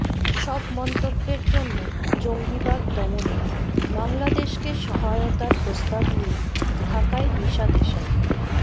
সব মন্তব্যের জন্য জঙ্গিবাদ দমনে বাংলাদেশকে সহায়তার প্রস্তাব নিয়ে ঢাকায় নিশা দেশাই